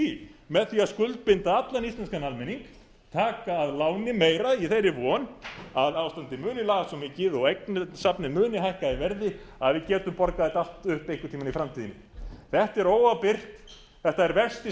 í með því að skuldbinda allan íslenskan almenning taka að láni meira í þeirri von að ástandið mundi lagast svo mikið og eignasafnið muni hækka í verði að við getum borgað þetta allt upp einhvern tímann í framtíðinni þetta er óábyrgt þetta er versti